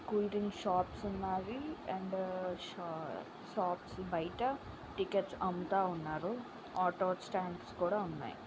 Cool drinks shops ఉన్నాయి. And షా shops బయట టికెట్స్ అమ్ముతా ఉన్నారు. ఆటో స్టాండ్స్ కూడా ఉన్నాయ్.